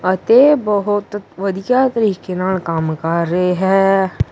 ਅਤੇ ਬਹੁਤ ਵਧੀਆ ਤਰੀਕੇ ਨਾਲ ਕੰਮ ਕਰ ਰਹੇ ਹੈ।